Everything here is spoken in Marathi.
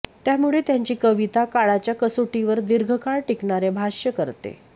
त्यामुळे त्यांची कविता काळाच्या कसोटीवर दीर्घकाळ टिकणारे भाष्य करते